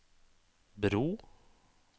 bro